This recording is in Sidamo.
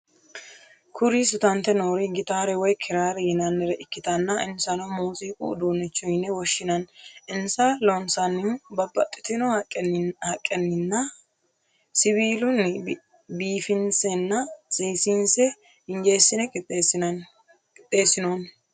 Kuri sutante noori gitaare woy kiraare yinaannire ikkitanna insanno muuziiqu udunnicho yine woshshinanni. insa loonsannihuno babaxitinno haqqenninba siwillani biifinsenna seesinse injesine qixeessinnonni.